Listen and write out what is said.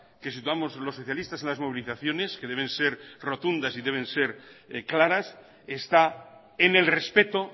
que situamos los socialistas en las movilizaciones que deben ser rotunda y que deben ser claras está en el respeto